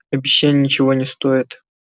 обещания ничего не стоят